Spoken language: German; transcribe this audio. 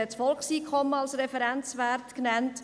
Das Volkseinkommen wir als Referenzwert genannt.